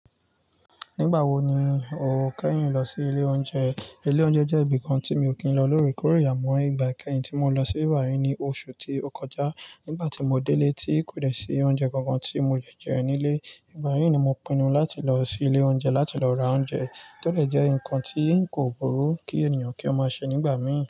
Nígbà wo ni o kẹ́yìn lọ sí ilé oúnjẹ? Ilé oúnjẹ jẹ́ ibìkan tí mi ò kí ń lọ lóore kóore amọ́. Ìgbà kẹ́yìn tí mo lọ sí iru aárín i ní oṣù tí ó kọjá. Nígbà tí mo délé tí kò lè ṣe oúnjẹ kankan tí mo jẹ jẹ ẹ nílé. Ìgbà yìí ni mo pinnu láti lọ sí ilé oúnjẹ láti lọ ra oúnjẹ tó lè jẹ́ ǹkan tí kò burú kí ènìyàn kí ó máa ṣe nígbà mí.